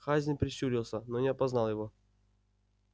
хазин прищурился но не опознал его